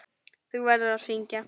Þú verður að syngja.